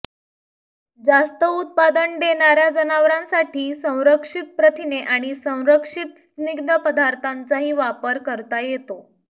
जास्त उत्पादन देणाऱ्या जनावरांसाठी संरक्षित प्रथिने आणि संरक्षित स्निग्ध पदार्थांचाही वापर करता येतो